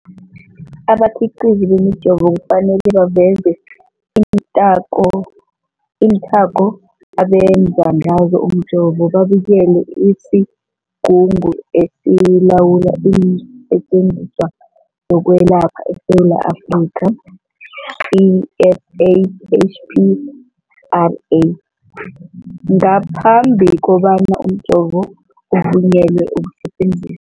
Abakhiqizi bemijovo kufanele baveze iinthako abenze ngazo umjovo, babikele isiGungu esiLawula iinSetjenziswa zokweLapha eSewula Afrika, i-SAHPRA, ngaphambi kobana umjovo uvunyelwe ukusebenza.